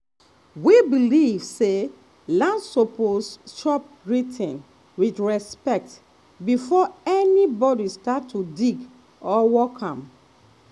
we believe say land suppose chop greeting with respect before anybody start to dig or work am.